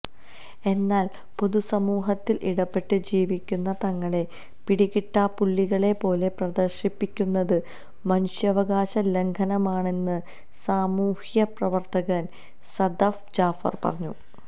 എന്നാൽ പൊതുസമൂഹത്തിൽ ഇടപെട്ട് ജീവിക്കുന്ന തങ്ങളെ പിടികിട്ടാപുള്ളികളെ പോലെ പ്രദർശിപ്പിക്കുന്നത് മനുഷ്യാവകാശ ലംഘനമാണെന്ന് സാമൂഹ്യ പ്രവർത്തകൻ സദഫ് ജാഫർ പറഞ്ഞു